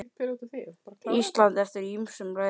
Ísland eftir ýmsum leiðum.